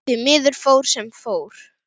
Því miður fór sem fór.